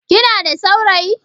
Kina da saurayi?